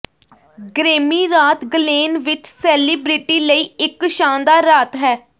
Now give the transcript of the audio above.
Grammy ਰਾਤ ਗਲੇਨ ਵਿਚ ਸੇਲਿਬ੍ਰਿਟੀ ਲਈ ਇਕ ਸ਼ਾਨਦਾਰ ਰਾਤ ਹੈ